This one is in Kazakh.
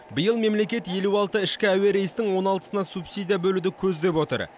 биыл мемлекет елу алты ішкі әуе рейстің он алтысына субсидия бөлуді көздеп отыр